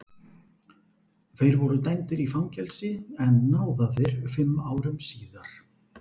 Þeir voru dæmdir í fangelsi en náðaðir fimm árum síðar.